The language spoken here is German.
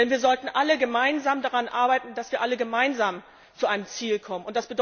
Denn wir sollten alle gemeinsam daran arbeiten, dass wir alle gemeinsam zu einem Ziel kommen.